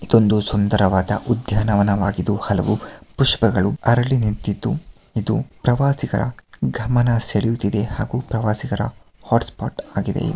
ಇದು ಒಂದು ಸುಂದರವಾದ ಉದ್ಯಾನವನವಾಗಿದ್ದು ಹಲವು ಪುಷ್ಪಗಳು ಅರಳಿ ನಿಂತಿದ್ದು ಇದು ಪ್ರವಾಸಿಗರ ಗಮನ ಸೆಳೆಯುತ್ತಿದೆ ಹಾಗೂ ಪ್ರವಾಸಿಗರ ಹಾಟ್ ಸ್ಪಾಟ್ ಆಗಿದೆ